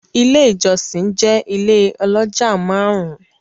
Ile ijọsin jẹ ile oloja marun-un